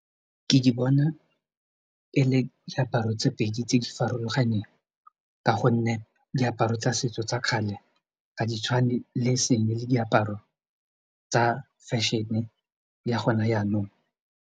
Ke di bona ele diaparo tse pedi tse di farologaneng ka gonne diaparo tsa setso tsa kgale ga di tshwane le e seng le diaparo tsa fashion-e ya gona jaanong.